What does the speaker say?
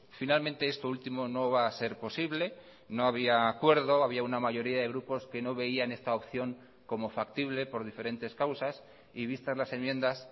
finalmente este último no va a ser posible no había acuerdo había una mayoría de grupos que no veían esta opción como factible por diferentes causas y vistas las enmiendas